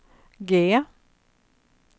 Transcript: G